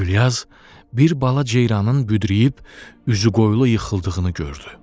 Gülyaz bir bala ceyranın büdrüyüb üzü qoyulu yıxıldığını gördü.